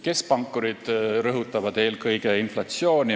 Keskpankurid rõhutavad eelkõige inflatsiooni.